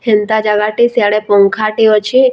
ହେନ୍ତା ଜାଗାଟେ ସେଆଡେ ପଙ୍ଖାଟେ ଅଛେ ଆଉ ଧୁ ।